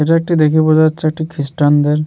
এটা একটি দেখেই বোঝা যাচ্ছে এটি খ্রিস্টান -দের--